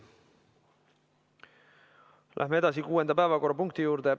Läheme edasi kuuenda päevakorrapunkti juurde.